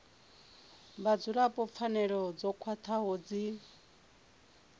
vhadzulapo pfanelo dzo khwathaho dzi